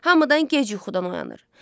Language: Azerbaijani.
Hamıdan gec yuxudan oyanır.